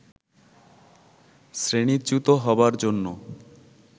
শ্রেণীচ্যুত হবার জন্য